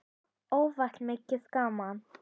Oft var mikið gaman.